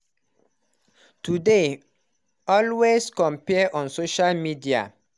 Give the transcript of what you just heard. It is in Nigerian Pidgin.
Today always compare on social media